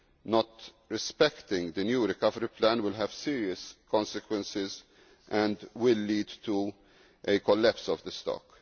Not respecting the new recovery plan will have serious consequences and will lead to a collapse of the stock.